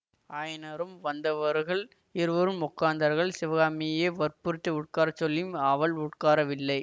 ஆயனரும் வந்தவர்கள் இருவரும் உட்கார்ந்தார்கள் சிவகாமியை வற்புறுத்தி உட்கார சொல்லியும் அவள் உட்காரவில்லை